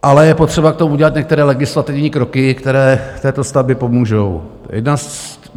Ale je potřeba k tomu udělat některé legislativní kroky, které této stavbě pomůžou.